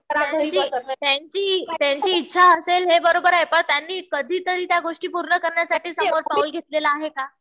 त्यांची इच्छा असेल हे बरोबर आहे. पण त्यांनी कधीतरी त्या गोष्टी पूर्ण करण्यासाठी समोर पाऊल घेतलेलं आहे का?